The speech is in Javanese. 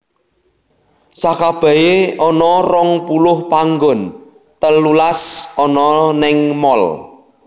Sakabehé ana rong puluh panggon telulas ana ning mall